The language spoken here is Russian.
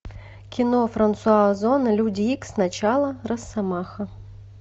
кино франсуа озона люди икс начало росомаха